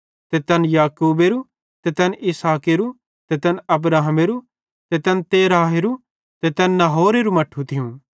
ते तैन याकूबेरू ते तैन इसहाकेरो ते तैन अब्राहमेरू ते तैन तेरहेरो ते तैन नाहोरेरू मट्ठू थियूं